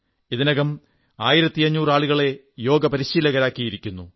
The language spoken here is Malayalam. ഇതിനകം 1500 ആളുകളെ യോഗ പരിശീലകരാക്കിയിരിക്കുന്നു